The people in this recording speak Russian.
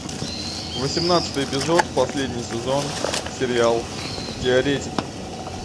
восемнадцатый эпизод последний сезон сериал теоретики